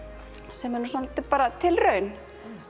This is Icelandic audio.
sem er svolítið bara tilraun